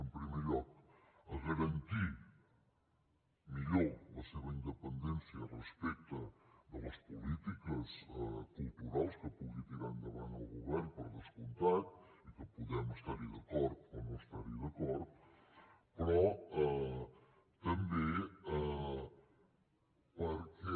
en primer lloc a garantir millor la seva independència respecte de les polítiques culturals que pugui tirar endavant el govern per descomptat i que podem estar hi d’acord o no estar hi d’acord però també perquè